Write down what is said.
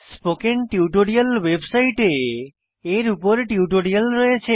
spoken tutorial ওয়েবসাইটে এর উপর টিউটোরিয়াল রয়েছে